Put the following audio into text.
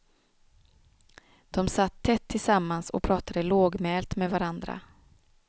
De satt tätt tillsammans och pratade lågmält med varandra.